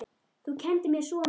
Þú kenndir mér svo mikið.